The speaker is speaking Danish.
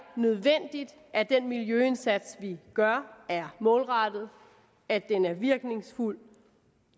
nødvendigt at den miljøindsats vi gør er målrettet at den er virkningsfuld at